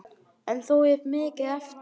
En þó er mikið eftir.